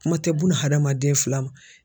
Kuma tɛ bun adamaden fila ma.